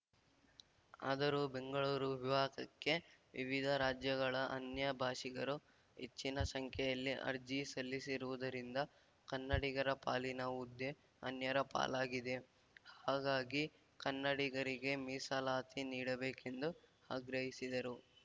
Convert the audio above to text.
ಆದರೂ ಬೆಂಗಳೂರು ವಿಭಾಗಕ್ಕೆ ವಿವಿಧ ರಾಜ್ಯಗಳ ಅನ್ಯ ಭಾಷಿಗರು ಹೆಚ್ಚಿನ ಸಂಖ್ಯೆಯಲ್ಲಿ ಅರ್ಜಿ ಸಲ್ಲಿಸಿರುವುದರಿಂದ ಕನ್ನಡಿಗರ ಪಾಲಿನ ಹುದ್ದೆ ಅನ್ಯರ ಪಾಲಾಗಲಿದೆ ಹಾಗಾಗಿ ಕನ್ನಡಿಗರಿಗೆ ಮೀಸಲಾತಿ ನೀಡಬೇಕೆಂದು ಆಗ್ರಹಿಸಿದರು